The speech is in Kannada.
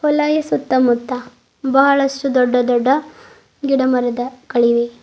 ಹೊಲಯ ಸುತ್ತಮುತ್ತ ಬಹಳಷ್ಟು ದೊಡ್ಡ ದೊಡ್ಡ ಗಿಡ ಮರದ ಗಳಿವೆ.